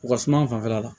U ka suma fanfɛla la